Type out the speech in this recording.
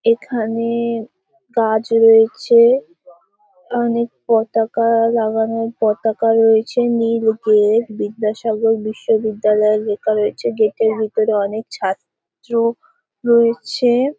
এখানে গাছ রয়েছে অনেক পতাকা লাগানো পতাকা রয়েছে নীল গেট বিদ্যাসাগর বিশ্ববিদ্যালয় লেখা রয়েছে গেট এর ভিতরে অনেক ছাত্র রয়েছে।